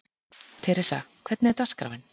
Theresa, hvernig er dagskráin?